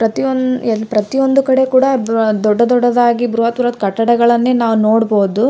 ಕುರುಚಿಯು ನೀಲಿ ಬಣ್ಣದಲ್ಲಿ ಆಗಿದೆ. ಆ ಕುರುಚಿ ಮೇಲೆ ಒಬ್ಬ ವ್ಯಕ್ತಿಯು ಕೂರುತ್ತಿದ್ದಾನೆ.